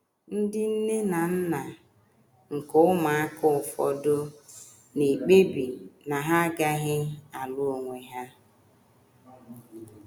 Ndị nne na nna nke ụmụaka ụfọdụ na - ekpebi na ha agaghị alụ onwe ha.